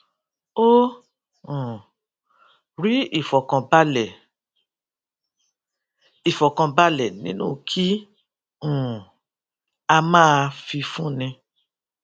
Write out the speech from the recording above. ó um rí ìfọ̀kànbalẹ̀ ìfọ̀kànbalẹ̀ nínú kí um a máa fifúnni